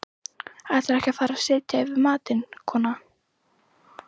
Ætlarðu ekki að fara að setja yfir matinn, kona?